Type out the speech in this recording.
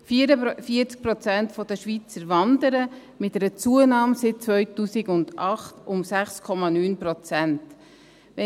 44 Prozent der Schweizer wandern, mit einer Zunahme um 6,9 Prozent seit 2008.